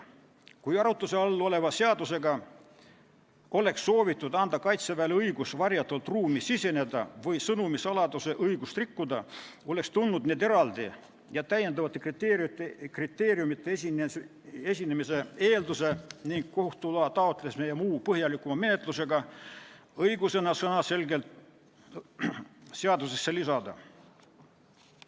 Kui arutluse all oleva seadusega oleks soovitud anda Kaitseväele õigus varjatult ruumi siseneda või sõnumi saladuse õigust rikkuda, oleks tulnud need eraldi ning lisakriteeriumide esinemise eelduse, kohtu loa taotlemise ja muu põhjalikuma menetluse õigusena sõnaselgelt seadusesse lisada.